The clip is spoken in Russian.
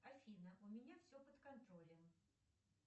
афина у меня все под контролем